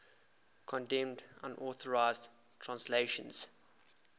condemned unauthorized translations